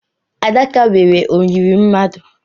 Adaka nwere oyiri mmadụ.